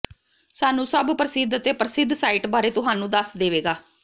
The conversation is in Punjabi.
ਸਾਨੂੰ ਸਭ ਪ੍ਰਸਿੱਧ ਅਤੇ ਪ੍ਰਸਿੱਧ ਸਾਈਟ ਬਾਰੇ ਤੁਹਾਨੂੰ ਦੱਸ ਦੇਵੇਗਾ